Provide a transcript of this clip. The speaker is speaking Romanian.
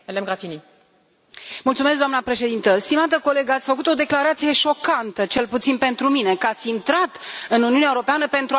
Doamnă președintă, stimată colegă, ați făcut o declarație șocantă, cel puțin pentru mine, că ați intrat în Uniunea Europeană pentru a lupta să o dezmembrați.